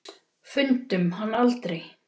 Fundum hann aldrei.